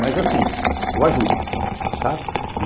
Mas assim, eu ajudo, sabe?